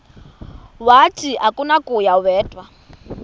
wathi akunakuya wedw